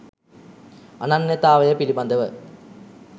අනන්‍යතාවය පිළිබඳව